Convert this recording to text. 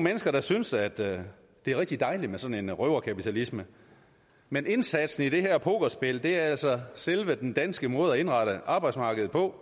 mennesker der synes at det er rigtig dejligt med sådan en røverkapitalisme men indsatsen i det her pokerspil er altså selve den danske måde at indrette arbejdsmarkedet på